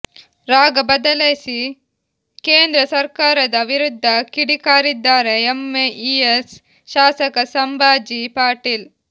ರಾಗ ಬದಲಿಸಿ ಕೇಂದ್ರ ಸರ್ಕಾರದ ವಿರುದ್ಧ ಕಿಡಿಕಾರಿದ್ದಾರೆ ಎಂಇಎಸ್ ಶಾಸಕ ಸಂಭಾಜಿ ಪಾಟೀಲ್